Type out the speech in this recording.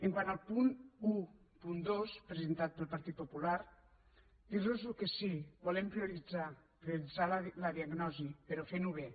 quant al punt dotze presentat pel partit popular dirlos que sí volem prioritzar prioritzar la diagnosi però fent ho bé